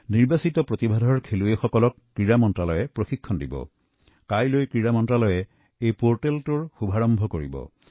প্ৰতিভাসম্পন্ন খেলুৱৈসকলক নিৰ্বাচিত কৰি ক্ৰীড়া মন্ত্ৰালয়ে প্ৰশিক্ষণ দিব আৰু মন্ত্ৰালয়ে অনাগত সময়ত ইয়াক শুভাৰম্ভ কৰিব